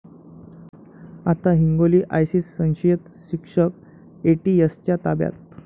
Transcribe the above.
आता हिंगोली!, आयसिस संशयित शिक्षक एटीएसच्या ताब्यात